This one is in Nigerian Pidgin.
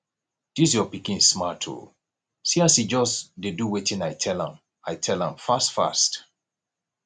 dis your pikin smart oo see as he just dey do wetin i tell am i tell am fast fast